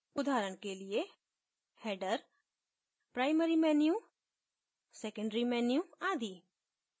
उदाहरण के लिए : header primary menu secondary menu आदि